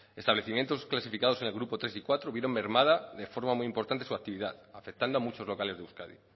establecimientos clasificados en el grupo tres y cuatro vieron mermada de forma muy importante su actividad afectando a muchos locales de euskadi